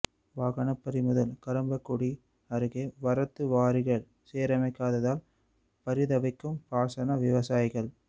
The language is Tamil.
வாகனம் பறிமுதல் கறம்பக்குடி அருகே வரத்து வாரிகள் சீரமைக்காததால் பரிதவிக்கும் பாசன விவசாயிகள்